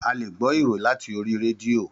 Àlé gbò ìróyìn làtí òrì rédìo